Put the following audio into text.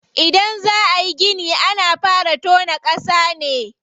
Idan za ayi gini ana fara tona ƙasa ne.